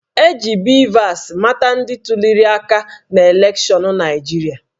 E ji BVAS mata ndị tuliri aka n'elekshọnụ Naịjirịa